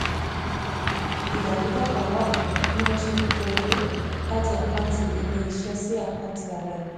ìdàrúdàpọ̀ wà bí wọ́n ṣe ń kó owó láti àkáǹtì ilé-iṣẹ́ sí àkáǹtì ara ẹni